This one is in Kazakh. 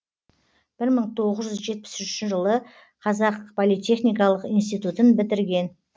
бір мың тоғыз жүз жетпіс үшінші жылы қазақ политехникалық институтын бітірген